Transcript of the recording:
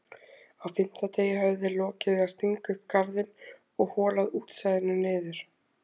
Á fimmta degi höfðu þeir lokið við að stinga upp garðinn og holað útsæðinu niður.